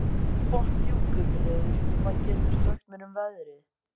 Gunnröður, hvað geturðu sagt mér um veðrið?